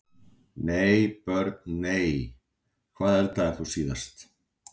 nei Börn: nei Hvað eldaðir þú síðast?